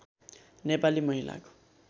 नेपाली महिलाको